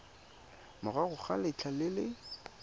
morago ga letlha le le